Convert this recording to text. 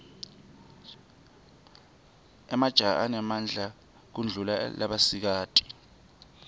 emajaha anemadla kudulla labasikati